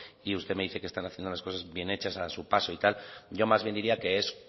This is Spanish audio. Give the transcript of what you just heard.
y usted me dice que están haciendo las cosas bien hechas a su paso y tal yo más bien diría que es